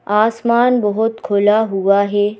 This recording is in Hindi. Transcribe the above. आसमान बहुत खुला हुआ है।